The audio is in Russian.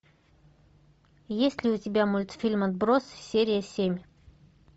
есть ли у тебя мультфильм отбросы серия семь